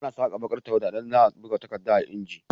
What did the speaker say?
Ana Saka bakar tawwada idan zaa buga takadda a inji